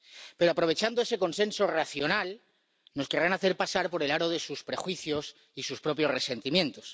Pero, aprovechando ese consenso racional, nos querrán hacer pasar por el aro de sus prejuicios y sus propios resentimientos.